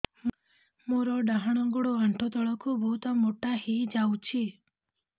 ମୋର ଡାହାଣ ଗୋଡ଼ ଆଣ୍ଠୁ ତଳକୁ ବହୁତ ମୋଟା ହେଇଯାଉଛି